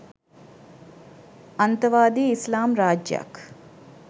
අන්තවාදී ඉස්ලාම් රාජ්‍යයක්